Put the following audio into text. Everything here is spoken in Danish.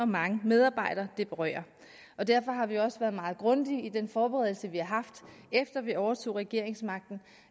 mange medarbejdere det berører derfor har vi også været meget grundige i den forberedelse vi har haft efter vi overtog regeringsmagten